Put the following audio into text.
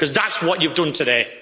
That's what you've done today.